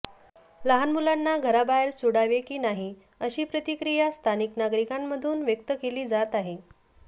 लहान मुलांना घराबाहेर सोडावे की नाही अशी प्रतिक्रिया स्थानिक नागरिकांमधून व्यक्त केली जात आहे